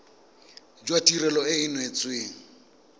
jwa tirelo e e neetsweng